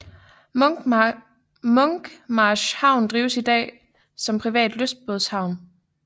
Munkmarsk havn drives i dag som privat lystbådehavn